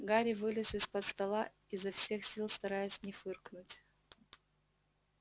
гарри вылез из-под стола изо всех сил стараясь не фыркнуть